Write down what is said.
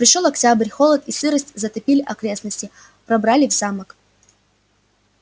пришёл октябрь холод и сырость затопили окрестности пробрались в замок